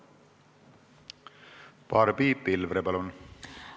Barbi Pilvre, palun!